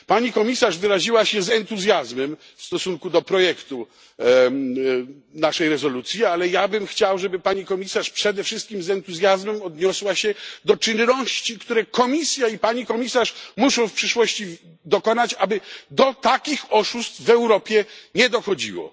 Pani Komisarz wyraziła się z entuzjazmem w stosunku do projektu naszej rezolucji, ale ja chciałbym, żeby Pani Komisarz przede wszystkim z entuzjazmem odniosła się do czynności, które Komisja i Pani Komisarz muszą w przyszłości podjąć, aby do takich oszustw w Europie nie dochodziło.